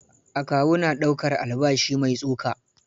Akawu na ɗaukar albashi mai tsoka.